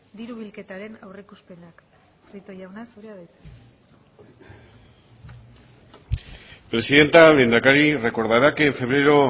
diru bilketaren aurreikuspenak prieto jauna zurea da hitza presidenta lehendakari recordará que en febrero